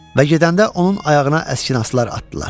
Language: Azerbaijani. Və gedəndə onun ayağına əskinazlar atdılar.